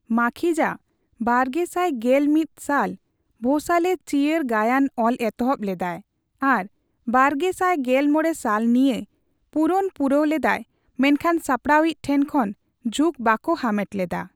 ᱢᱟᱠᱷᱤᱡᱟ ᱵᱟᱨᱜᱮᱥᱟᱭ ᱜᱮᱞ ᱢᱤᱛ ᱥᱟᱞ ᱵᱷᱳᱸᱥᱟᱞᱮ ᱪᱤᱟᱹᱨ ᱜᱟᱭᱟᱱ ᱚᱞ ᱮᱛᱦᱚᱵ ᱞᱮᱫᱟᱭ ᱟᱨ ᱵᱟᱨᱜᱮᱥᱟᱭ ᱜᱮᱞ ᱢᱚᱲᱮ ᱥᱟᱞ ᱱᱤᱭᱟ ᱯᱩᱨᱚᱱ ᱯᱩᱨᱟᱹᱣ ᱞᱮᱫᱟᱭ ᱢᱮᱱᱠᱷᱟᱱ ᱥᱟᱯᱲᱟᱣ ᱤᱪ ᱴᱷᱮᱱ ᱠᱷᱚᱱ ᱡᱷᱩᱸᱠ ᱵᱟᱠᱩ ᱦᱟᱢᱮᱴ ᱞᱮᱫᱟ᱾